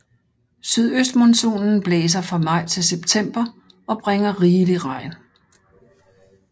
Sydøstmonsunen blæser fra maj til september og bringer rigelig regn